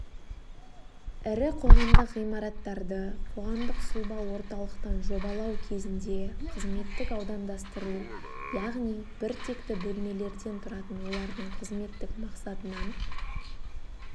ірі қоғамдық ғимараттарды қоғамдық-сұлба орталықтан жобалау кезінде қызметтік аудандастыру яғни бір текті бөлмелерден тұратын олардың қызметтік мақсатынан